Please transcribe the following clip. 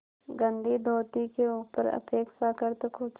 गंदी धोती के ऊपर अपेक्षाकृत कुछ